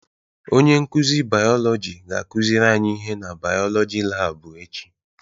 Onye nkuzi bayolọjị ga-akuziri anyi ihe na bayolọjị laabụ echi.